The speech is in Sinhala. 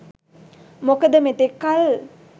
මොකද මෙතෙක් කල්